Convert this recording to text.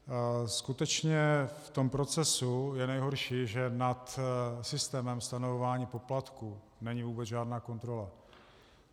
Skutečně v tom procesu je nejhorší, že nad systémem stanovování poplatků není vůbec žádná kontrola.